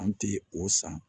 An ti o san